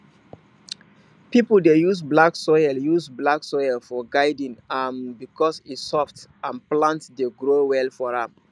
people dey use black soil use black soil for garden um because e soft and plant dey grow well for am